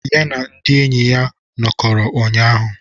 Ya na ndị enyi ya nọkọrọ ụnyahụ.